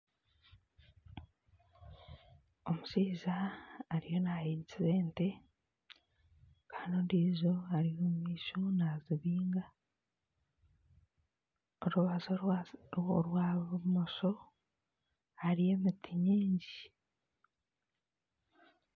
Omushaija ariyo nahigikira ente. Kandi ondiijo ari omu maisho nazibinga. Orubaju orwa orwa bumosho hariyo emiti nyingi.